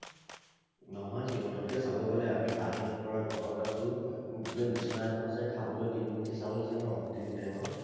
নহয় সিহঁতকৈ চাব গলে আমি পানী নপৰা ঘৰত আছোঁ, শুবলে বিছনা এখন আছে, খাবলৈ তিনি মুঠি চাউল আছে ন? তিনি time ৰ?